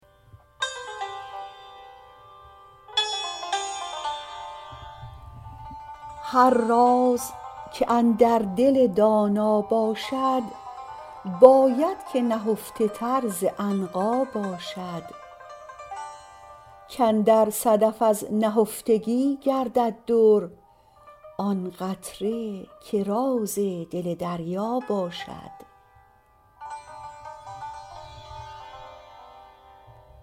هر راز که اندر دل دانا باشد باید که نهفته تر ز عنقا باشد کاندر صدف از نهفتگی گردد در آن قطره که راز دل دریا باشد